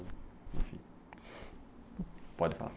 pode falar.